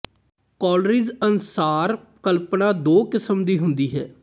Coleridge ਅਨੁਸਾਰ ਕਲਪਨਾ ਦੋ ਕਿਸਮ ਦੀ ਹੁੰਦੀ ਹੈ